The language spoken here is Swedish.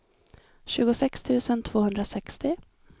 tjugosex tusen tvåhundrasextio